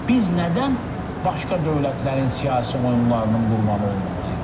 Biz nədən başqa dövlətlərin siyasi oyunlarının qurbanı olmalıyıq?